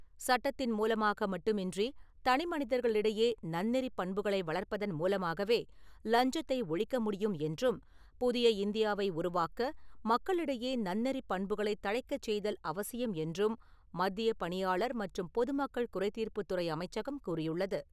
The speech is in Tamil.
சட்டத்தின் மூலமாக மட்டுமின்றி தனி மனிதர்கள் இடையே நன்னெறிப் பண்புகளை வளர்ப்பதன் மூலமாகவே லஞ்சத்தை ஒழிக்க முடியும் என்றும், புதிய இந்தியாவை உருவாக்க மக்களிடையே நன்னெறி பண்புகளை தழைக்கச் செய்தல் அவசியம் என்றும், மத்திய பணியாளர் மற்றும் பொதுமக்கள் குறைத் தீர்ப்புத் துறை அமைச்சகம் கூறியுள்ளது.